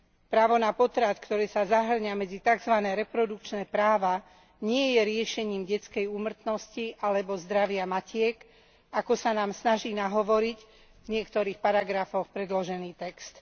Právo na potrat, ktoré sa zahŕňa medzi takzvané reprodukčné práva, nie je riešením detskej úmrtnosti alebo zdravia matiek, ako sa nám snaží nahovoriť v niektorých paragrafoch predložený text.